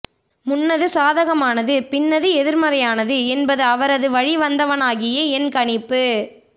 முன்னது சாதகமானது பின்னது எதிர்மறையானது என்பது அவரது வழிவந்தவனாகிய என் கணிப்பு